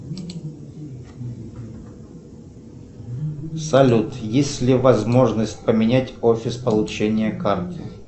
салют есть ли возможность поменять офис получения карты